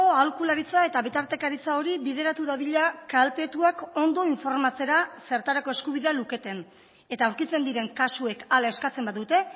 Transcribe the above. aholkularitza eta bitartekaritza hori bideratu dadila kaltetuak ondo informatzera zertarako eskubidea luketen eta aurkitzen diren kasuek hala eskatzen badute